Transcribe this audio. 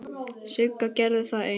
Sigga gerði það ein.